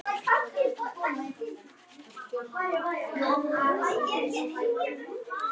Hann sá ekki betur.